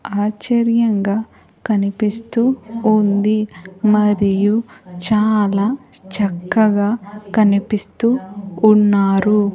ఆశ్చర్యంగా కనిపిస్తూ ఉంది మరియు చాలా చక్కగా కనిపిస్తూ ఉన్నారు.